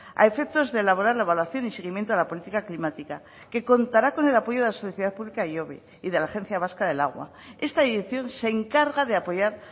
a efectos de elaborar la evaluación y seguimiento de la política climática que contará con el apoyo de la sociedad pública ihobe y de la agencia vasca del agua esta edición se encarga de apoyar